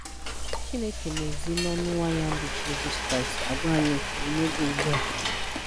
Chineke n'ezi n'ọnụ nwa ya bu Jizọs Kraịst àgwá anyị ókwú n'oge ugbua.